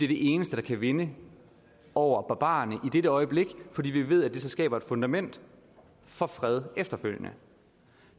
det eneste der kan vinde over barbarerne i det øjeblik og fordi vi ved at det så skaber et fundament for fred efterfølgende